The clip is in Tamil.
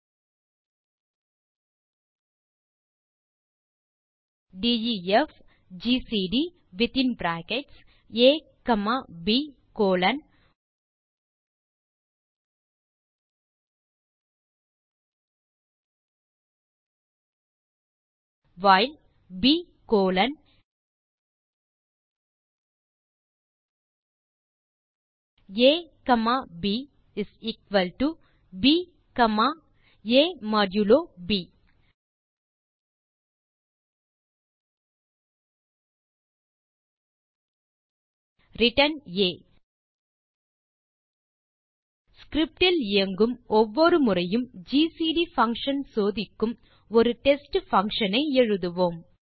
டைப் செய்க def GCD within bracket a comma b colon while b colon a comma b b comma a modulo b return a script இல் இயங்கும் ஒவ்வொரு முறையும் ஜிசிடி பங்ஷன் சோதிக்கும்படி ஒரு டெஸ்ட் பங்ஷன் ஐ எழுதுவோம்